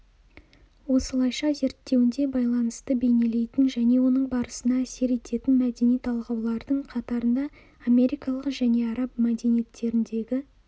осылайша зерттеуінде байланысты бейнелейтін және оның барысына әсер ететін мәдени талғаулардың қатарында америкалық және араб мәдениеттеріндегі